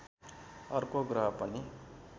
अर्को ग्रह पनि